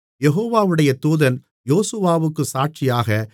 யெகோவாவுடைய தூதன் யோசுவாவுக்குச் சாட்சியாக